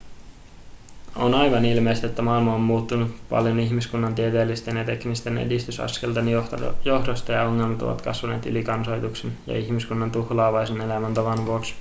on aivan ilmeistä että maailma on muuttunut paljon ihmiskunnan tieteellisten ja teknisten edistysaskelten johdosta ja ongelmat ovat kasvaneet ylikansoituksen ja ihmiskunnan tuhlaavaisen elämäntavan vuoksi